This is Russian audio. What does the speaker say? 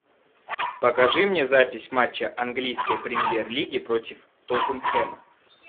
покажи мне запись матча английской премьер лиги против тоттенхэма